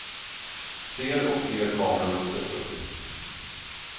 Fler och fler kameror sätts upp.